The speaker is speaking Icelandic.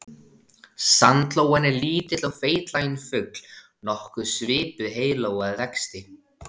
Sandlóan er lítill og feitlaginn fugl nokkuð svipuð heiðlóu að vexti.